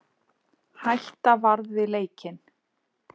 Hætta varð við leikinn